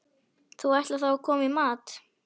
Þú ætlar þá að koma í mat?